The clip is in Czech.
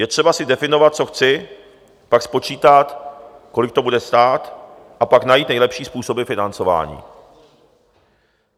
Je třeba si definovat, co chci, pak spočítat, kolik to bude stát, a pak najít nejlepší způsoby financování.